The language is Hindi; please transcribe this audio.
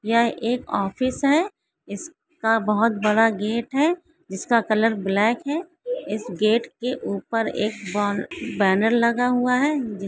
यह एक ऑफिस है। इसका बहोत बड़ा गेट है। जिसका कलर ब्लॅक है। इस गेट के उपर एक बॅन बॅनर लगा हुआ है। जिस--